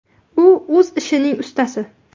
U o‘z ishining ustasi.